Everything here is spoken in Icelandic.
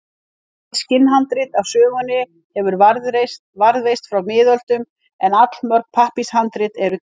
Eitt skinnhandrit af sögunni hefur varðveist frá miðöldum en allmörg pappírshandrit eru til.